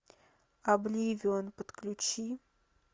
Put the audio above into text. обливион подключи